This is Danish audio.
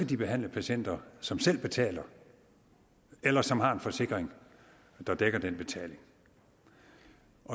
de behandle patienter som selv betaler eller som har en forsikring der dækker den betaling